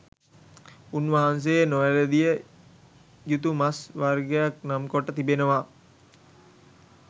උන් වහන්සේ නොවැලඳිය යුතු මස් වර්ගක් නම් කොට තිබෙනවා